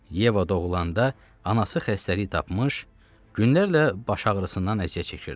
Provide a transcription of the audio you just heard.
Yeva doğulanda anası xəstəlik tapmış, günlərlə baş ağrısından əziyyət çəkirdi.